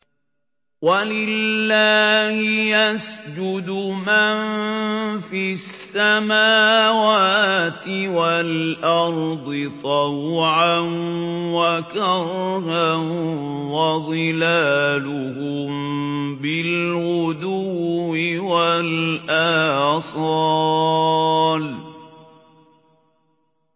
وَلِلَّهِ يَسْجُدُ مَن فِي السَّمَاوَاتِ وَالْأَرْضِ طَوْعًا وَكَرْهًا وَظِلَالُهُم بِالْغُدُوِّ وَالْآصَالِ ۩